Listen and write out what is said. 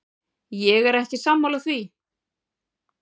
Ég er ekki sammála því.